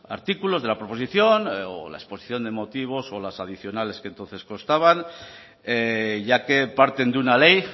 artículos de la proposición o la exposición de motivos o las adicionales que entonces constaban ya que parten de una ley